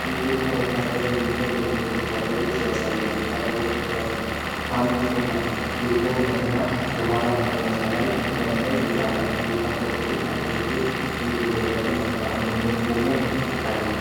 የኢትዮጵያ ወታደራዊ ዩኒፎርም የለበሱ ወታደሮችን ያሳያል። ወታደሮቹ በካሙፍላጅ ፒክአፕ መኪና የኋላ መቀመጫ ላይ ተቀምጠዋል። የታጠቁና ለአገልግሎት የተዘጋጁ ናቸው። አንድኛው ቁሞ ይታያል፡፡